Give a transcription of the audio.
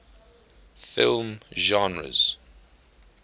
film genres